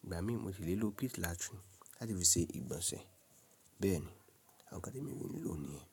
Ìgbà mìíràn mo ti lè lo pit latoon láti fi ṣe ìgbọ̀nsẹ̀ bẹ́ẹ̀ ni. Àwọn nkán temìí ń lò ni yen?